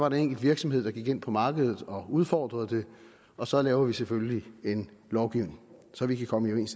en enkelt virksomhed der gik ind på markedet og udfordrede det og så laver vi selvfølgelig en lovgivning så vi kan komme